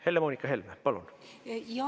Helle-Moonika Helme, palun!